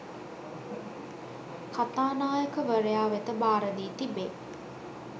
කථානායකවරයා වෙත භාරදී තිබේ